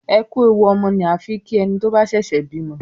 "ẹkú ẹwù ọmọ" ni a fín ki ẹní tó bà ṣẹṣẹ bímọ